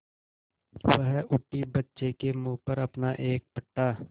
वह उठी बच्चे के मुँह पर अपना एक फटा